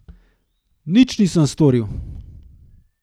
Nič nisem storil.